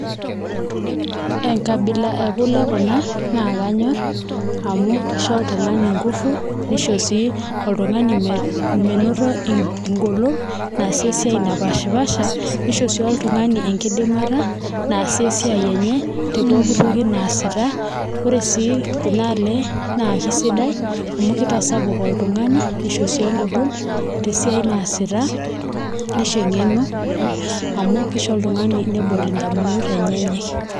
Enkabila ekule kuna, nakanyor, amu kisho oltung'ani ngufu, nisho si oltung'ani menoto egolon, naasie esiai napashipasha, nisho si oltung'ani enkidimata tepooki toki naasita. Ore si kuna ale, na kesidai amu kitasapuk oltung'ani nisho si egolon tesiai naasita, nisho eng'eno, amu kisho oltung'ani nebol indamunot enyenyek.